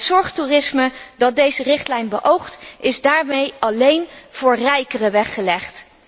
Het zorgtoerisme dat deze richtlijn beoogt, is daarmee alleen voor rijkeren weggelegd.